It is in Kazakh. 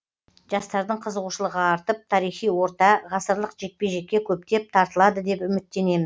жастардың қызуғышылығы артып тарихи орта ғасырлық жекпе жекке көптеп тартылады деп үміттенеміз